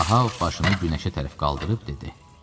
Ahav başını günəşə tərəf qaldırıb dedi: